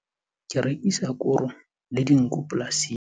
Re rekisa koro le dinku polasing.